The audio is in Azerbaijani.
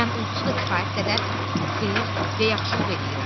Mən onsuz da kifayət qədər xeyir və yaxşılıq eləyirəm.